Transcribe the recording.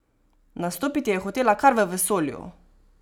Nastopiti je hotela kar v vesolju!